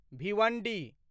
Bhiwandi